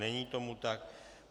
Není tomu tak.